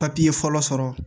Papiye fɔlɔ sɔrɔ